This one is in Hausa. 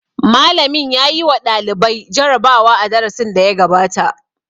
Malamin ya yi wa ɗalibai jarabawa a darasin da ya gabata.